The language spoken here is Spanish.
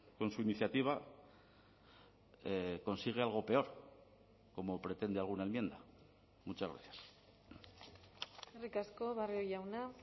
con su iniciativa consigue algo peor como pretende alguna enmienda muchas gracias eskerrik asko barrio jauna